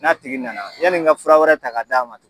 N'a tigi nana yanni n ka fura wɛrɛ ta k'a d'a ma